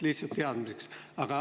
Lihtsalt teadmiseks.